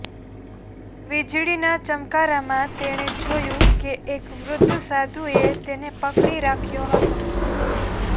વીજળીના ચમકારામાં તેણે જોયું કે એક વૃદ્ધ સાધુએ તેને પકડી રાખ્યો હતો